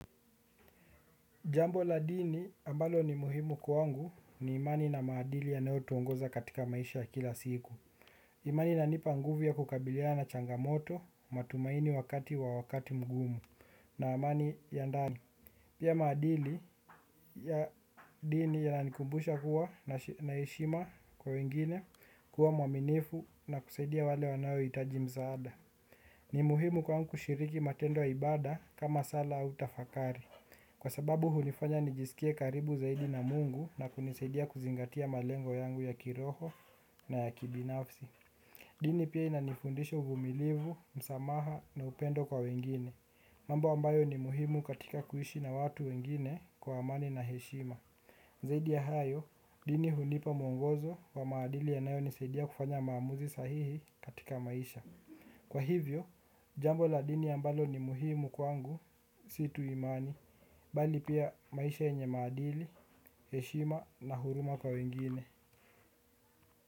Jambo la dini ambalo ni muhimu kwangu ni imani na maadili yanayotuongoza katika maisha ya kila siku. Imani inanipa nguvu ya kukabiliana na changamoto matumaini wakati wa wakati mgumu na imani ya ndani. Pia maadili ya dini yananikumbusha kuwa na heshima kwa wengine kuwa mwaminifu na kusaidia wale wanaohitaji msaada. Ni muhimu kwangu kushiriki matendo ya ibada kama sala au tafakari. Kwa sababu hunifanya nijisikie karibu zaidi na Mungu na kunisaidia kuzingatia malengo yangu ya kiroho na ya kibinafsi. Dini pia inanifundisha uvumilivu, msamaha na upendo kwa wengine, mambo ambayo ni muhimu katika kuishi na watu wengine kwa amani na heshima. Zaidi ya hayo, dini hunipa mwongozo wa maadili yanayonisaidia kufanya maamuzi sahihi katika maisha. Kwa hivyo, jambo la dini ambalo ni muhimu kwangu, si tu imani, bali pia maisha yenye maadili, heshima na huruma kwa wengine.